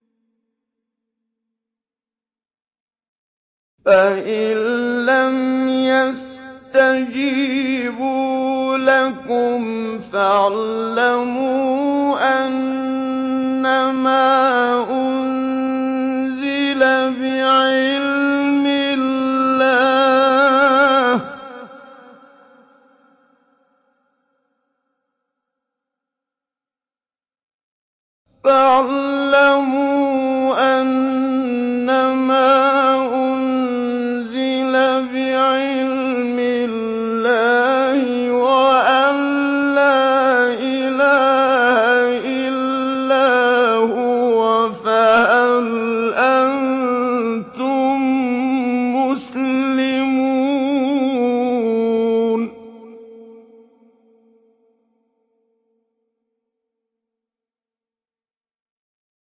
فَإِلَّمْ يَسْتَجِيبُوا لَكُمْ فَاعْلَمُوا أَنَّمَا أُنزِلَ بِعِلْمِ اللَّهِ وَأَن لَّا إِلَٰهَ إِلَّا هُوَ ۖ فَهَلْ أَنتُم مُّسْلِمُونَ